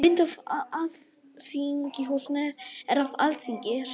Mynd af Alþingishúsinu er af Alþingi: Saga og störf.